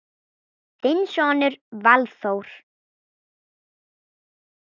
Þinn sonur Valþór.